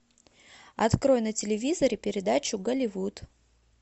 открой на телевизоре передачу голливуд